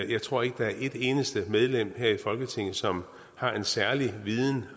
jeg tror ikke der er et eneste medlem her i folketinget som har en særlig viden